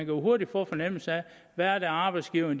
jo hurtigt få en fornemmelse af hvad arbejdsgiverne